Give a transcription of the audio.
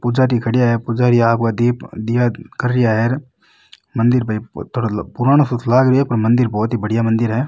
पुजारी खडिया है पुजारी आपके दिप दिया करिया है मंदिर भाई थोड़ो पुरानो सो लाग रियो है पर मंदिर बहोत ही बढ़िया मंदिर है।